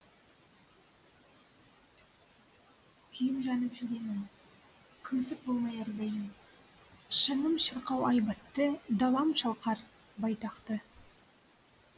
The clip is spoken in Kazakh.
күйіп жанып жүремін күңсік болмай әрдайым шыңым шырқау айбатты далам шалқар байтақ ты